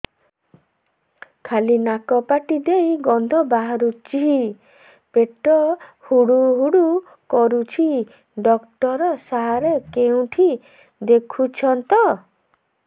ଖାଲି ନାକ ପାଟି ଦେଇ ଗଂଧ ବାହାରୁଛି ପେଟ ହୁଡ଼ୁ ହୁଡ଼ୁ କରୁଛି ଡକ୍ଟର ସାର କେଉଁଠି ଦେଖୁଛନ୍ତ